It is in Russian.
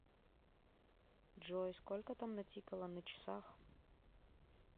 джой сколько там натикало на часах